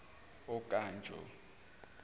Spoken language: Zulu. okanjo